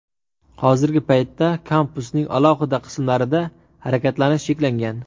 Hozirgi paytda kampusning alohida qismlarida harakatlanish cheklangan.